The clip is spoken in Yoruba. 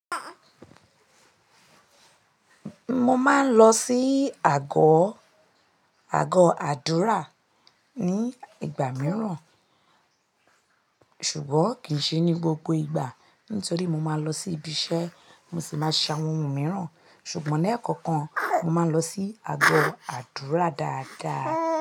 Mo máa ń lọ sí àgọ́, àgọ́ àdúrà ní ìgbà mìíràn, ṣùgbọ́n kì í ṣe ní gbogbo ìgbà nítorí mo máa lọ sí ibi iṣẹ́, mo sì máa ṣàwọn ohun mìíràn. Ṣùgbọ́n lẹ́ẹ̀kọ̀kan, mo máa ń lọ sí àgọ́ àdúrà dáadáa.